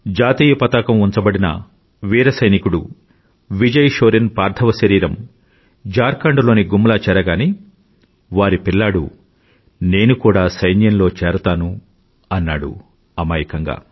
జాతీయ పతాకం ఉంచబడిన వీర సైనికుడు విజయ్ షోరెన్ పార్థివ శరీరం ఝార్ఖండ్ లోని గుమ్లా చేరగానే వారి పిల్లాడు నేను కూడా సైన్యంలో చేరతాను అన్నాడు అమాయకంగా